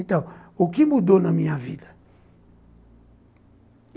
Então, o que mudou na minha vida?